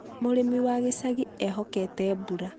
Mũrĩmi wa gĩcagi eehokete mbura.